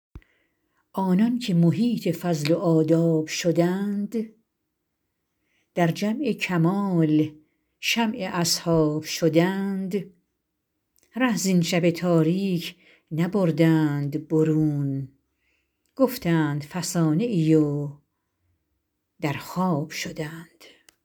آنان که محیط فضل و آداب شدند در جمع کمال شمع اصحاب شدند ره زین شب تاریک نبردند برون گفتند فسانه ای و در خواب شدند